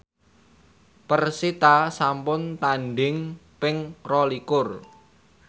persita sampun tandhing ping rolikur